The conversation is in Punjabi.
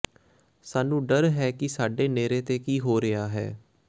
ਸਾਨੂੰ ਡਰ ਹੈ ਕਿ ਸਾਡੇ ਨੇੜੇ ਤੇ ਕੀ ਹੋ ਰਿਹਾ ਹੈ